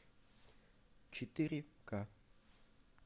четыре ка